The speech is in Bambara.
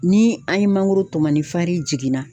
Ni an ye mangoro tɔmɔ ni jiginna.